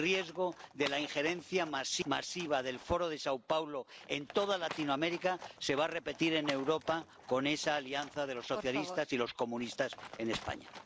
El riesgo de la injerencia masiva del Foro de São Paulo en toda Latinoamérica se va a repetir en Europa con esa alianza de los socialistas y los comunistas en España.